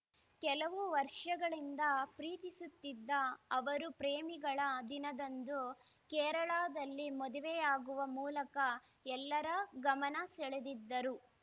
ಕೆಲವು ವರ್ಷಗಳಿಂದ ಪ್ರೀತಿಸುತ್ತಿದ್ದ ಅವರು ಪ್ರೇಮಿಗಳ ದಿನದಂದು ಕೇರಳದಲ್ಲಿ ಮದುವೆಯಾಗುವ ಮೂಲಕ ಎಲ್ಲರ ಗಮನ ಸೆಳೆದಿದ್ದರು